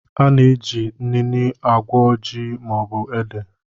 A na-eji inine agwọ ji maọbụ ede